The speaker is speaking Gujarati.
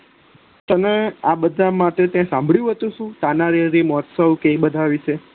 તમે આ બધા માંથી સાંભળ્યું હતું તાનારીરી મહોસ્ત્વ કે એ બધા વિશે